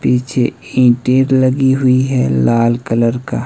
पीछे ईंटें लगी हुई हैं लाल कलर का।